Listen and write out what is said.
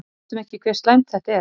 Við vitum ekki hve slæmt þetta er.